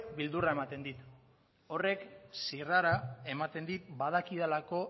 beldurra ematen dit horrek zirrara ematen dit badakidalako